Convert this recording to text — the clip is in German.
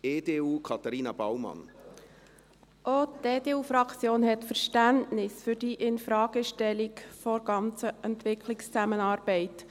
Auch die EDU-Fraktion hat Verständnis für die Infragestellung der ganzen Entwicklungszusammenarbeit.